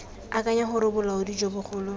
akanya gore bolaodi jo bogolo